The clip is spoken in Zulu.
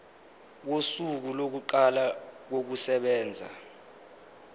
kosuku lokuqala kokusebenza